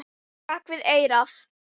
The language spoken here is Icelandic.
Bak við eyrað.